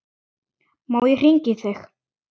Má ég hringja í þig?